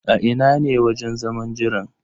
A ina ne wajen zaman jiran?